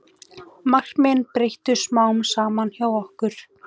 Markmiðin breyttust smám saman hjá okkur